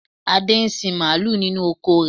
Adé ń sin mààlúù nínú oko rẹ.